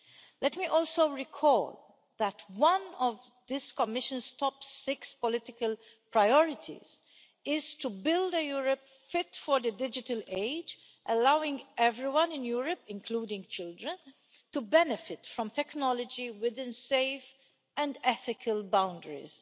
Let me also recall that one of this Commission's top six political priorities is to build a Europe fit for the digital age, allowing everyone in Europe, including children, to benefit from technology within safe and ethical boundaries.